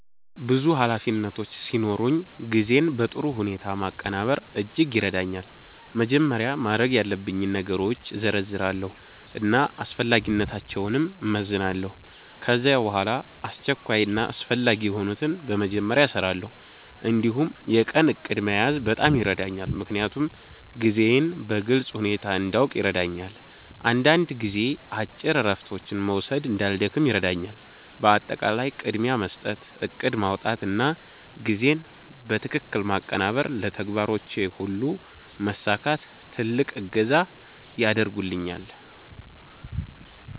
ብዙ ኃላፊነቶች ሲኖሩኝ ጊዜን በጥሩ ሁኔታ ማቀናበር እጅግ ይረዳኛል። መጀመሪያ ማድረግ ያለብኝን ነገሮች እዘርዝራለሁ እና አስፈላጊነታቸውን እመዝናለሁ። ከዚያ በኋላ አስቸኳይ እና አስፈላጊ የሆኑትን በመጀመሪያ እሰራለሁ። እንዲሁም የቀን እቅድ መያዝ በጣም ይረዳኛል፣ ምክንያቱም ጊዜዬን በግልጽ ሁኔታ እንዲያውቅ ያደርገኛል። አንዳንድ ጊዜ አጭር እረፍቶች መውሰድ እንዳልደክም ይረዳኛል። በአጠቃላይ ቅድሚያ መስጠት፣ እቅድ ማውጣት እና ጊዜን በትክክል ማቀናበር ለተግባሮቼ ሁሉ መሳካት ትልቅ እገዛ ያደርጉልኛል።